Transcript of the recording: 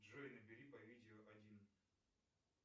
джой набери по видео один